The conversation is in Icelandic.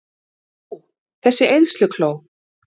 Þú, þessi eyðslukló!